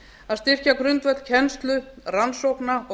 að styrkja grundvöll kennslu rannsókna og